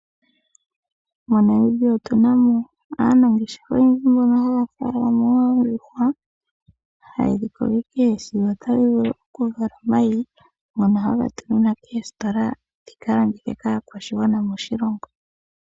MoNamibia omuna aanafaalama oyendji mboka haya munu oondjuhwa ndhoka hadhi vala omayi ngono haga tuminwa koostola dhika landithe kaakwashigwana moshilongo